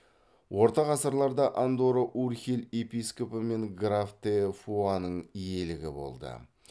орта ғасырларда андорра урхель епископы мен граф де фуаның иелігі болды